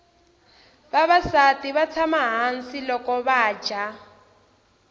vavasati vatsama hhasi lokuvaja